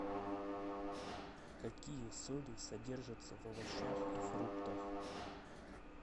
какие соли содержатся в овощах и фруктах